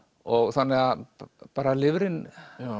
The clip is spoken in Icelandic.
þannig að bara lifrin